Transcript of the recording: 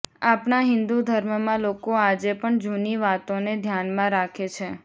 આપણા હિન્દુ ધર્મમાં લોકો આજે પણ જૂની વાતો ને ધ્યાનમાં રાખે છે